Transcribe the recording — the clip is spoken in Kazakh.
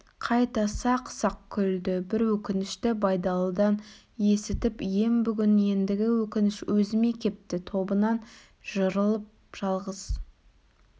қайта сақ-сақ күлді бір өкінішті байдалыдан есітіп ем бүгін ендігі өкініш өзіме кепті тобынан жырылып жалғыз